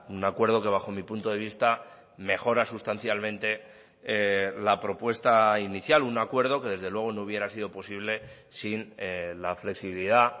un acuerdo que bajo mi punto de vista mejora sustancialmente la propuesta inicial un acuerdo que desde luego no hubiera sido posible sin la flexibilidad